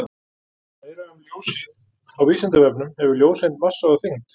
Meira um ljósið á Vísindavefnum: Hefur ljóseind massa og þyngd?